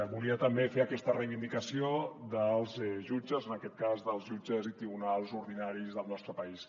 volia també fer aquesta reivindicació dels jutges en aquest cas dels jutges i tribunals ordinaris del nostre país